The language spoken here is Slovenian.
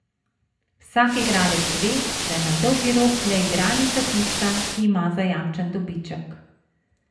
Vsak igralec ve, da je na dolgi rok le igralnica tista, ki ima zajamčen dobiček.